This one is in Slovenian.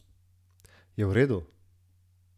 Je v redu?